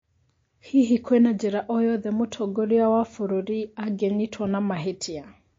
Hihi kwĩna njĩra oyothe mũtongoria wa bũrũri angĩnyitwo na mahĩtia?